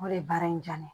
O de ye baara in diya ne ye